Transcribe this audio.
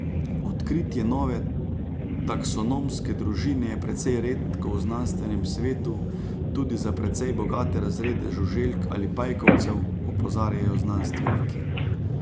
Odkritje nove taksonomske družine je precej redko v znanstvenem svetu tudi za precej bogate razrede žuželk ali pajkovcev, opozarjajo znanstveniki.